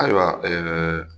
Ayiwa ɛɛ